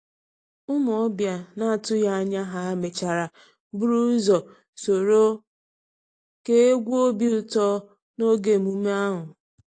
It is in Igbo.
Ụmụ ọbịa na-atụghị anya ha mechara buru ụzọ soro kee egwu obi ụtọ n’oge emume ahụ.